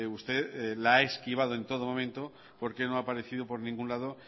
usted la ha esquivado en todo momento porque no ha aparecido por ningún lado